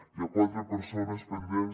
hi ha quatre persones pendents